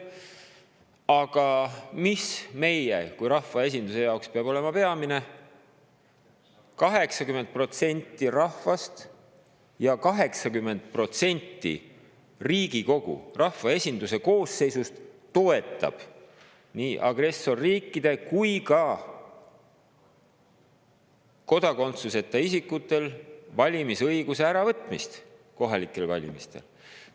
Aga meie kui rahvaesinduse jaoks peab olema peamine, et 80% rahvast ja 80% Riigikogu, rahvaesinduse koosseisust toetab nii agressorriikide kui ka kodakondsuseta isikutelt valimisõiguse äravõtmist kohalikel valimistel.